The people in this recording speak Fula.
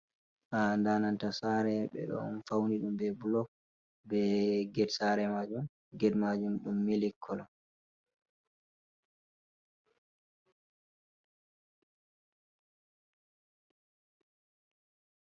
Ha dananta sare be don fauni dum be blok be get, sare majum ged majum dum mili kolon.